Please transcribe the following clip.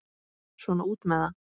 Svona út með það.